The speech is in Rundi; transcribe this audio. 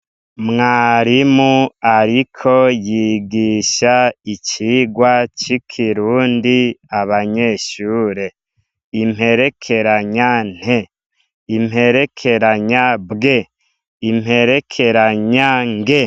Mwarimu ariko yigisha icigwa c'ikirundi abanyeshure. Imperekeranya "nt", imperekeranya "bw", imperekeranya "ng".